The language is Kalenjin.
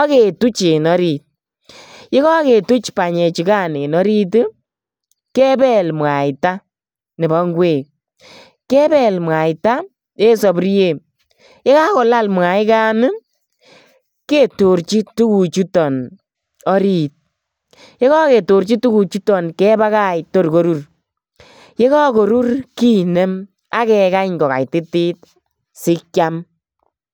ak ketuch en orit. Yekaketuchen orit. Yekaketuch banyechugan en orit kepel mwaita nebo ingwek. Kepel mwaita en sapuriet. Yekakolal mwaigan ketorchi tuguchuton orit. Yekaketorchi tuguchuton kebakach tor korur. Ye kakorur kinem ak kekany kokaititit sikiam.